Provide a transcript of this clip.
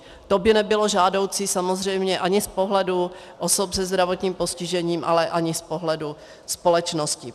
To by nebylo žádoucí samozřejmě ani z pohledu osob se zdravotním postižením, ale ani z pohledu společnosti.